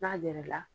N'a yɛlɛla